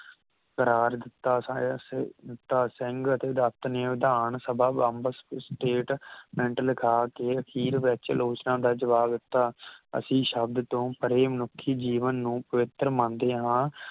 ਕਰਾਰ ਦਿੱਤਾ ਸਾਇਰ ਸ ਸਿੰਘ ਅਤੇ ਡਾਕਟਰ ਨੇ ਵਿਧਾਨ ਸਭਾ ਬੰਬ state meant ਲਿਖਾ ਕੇ ਅਖੀਰ ਵਿਚ ਆਲੋਚਨਾ ਦਾ ਜਵਾਬ ਦਿੱਤਾ ਅਸੀ ਸ਼ਬਦ ਤੋਂ ਪਰੇ ਮਨੁੱਖੀ ਜੀਵਨ ਨੂੰ ਪਵਿੱਤਰ ਮੰਨਦੇ ਹਾਂ